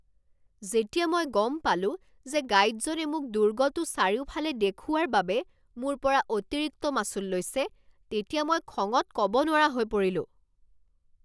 যেতিয়া মই গম পালো যে গাইডজনে মোক দুৰ্গটো চাৰিওফালে দেখুওৱাৰ বাবে মোৰ পৰা অতিৰিক্ত মাচুল লৈছে তেতিয়া মই খঙত ক'ব নোৱাৰা হৈ পৰিলোঁ।